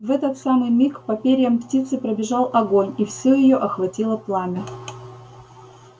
в этот самый миг по перьям птицы пробежал огонь и всю её охватило пламя